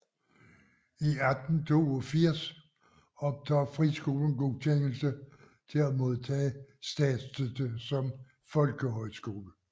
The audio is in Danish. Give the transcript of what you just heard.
I 1882 modtager friskolen godkendelse til at modtage statsstøtte som folkehøjskole